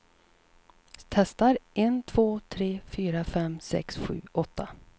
Testar en två tre fyra fem sex sju åtta.